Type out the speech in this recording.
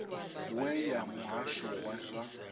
we ya muhasho wa zwa